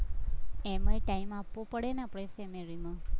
એમાંય time આપવો પડે ને આપણે ને